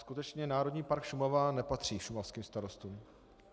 Skutečně Národní park Šumava nepatří šumavským starostům.